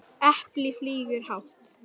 Apple flýgur hátt